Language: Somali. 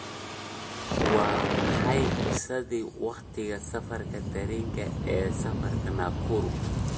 waa maxay qiyaasta waqtiga safarka tareenka ee safarka nakuru